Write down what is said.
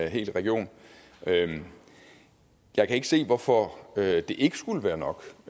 hel region jeg kan ikke se hvorfor det ikke skulle være nok